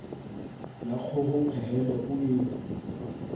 la kgoho pehele o e